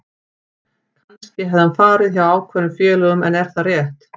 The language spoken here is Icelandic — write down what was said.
Kannski hefði hann farið hjá ákveðnum félögum en er það rétt?